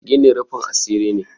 gini rufin asiri ne